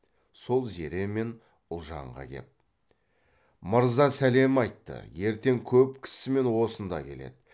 сол зере мен ұлжанға кеп мырза сәлем айтты ертең көп кісімен осында келеді